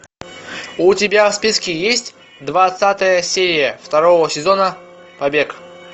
у тебя в списке есть двадцатая серия второго сезона побег